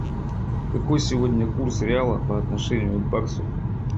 какой сегодня курс реала по отношению к баксу